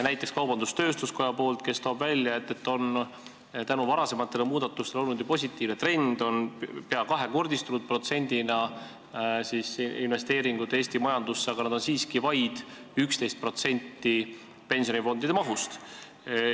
Näiteks toob kaubandus-tööstuskoda välja, et tänu varasematele muudatustele on olnud positiivne trend ja protsendina võttes on investeeringud Eesti majandusse peaaegu kahekordistunud, aga need on siiski vaid 11% pensionifondide mahust.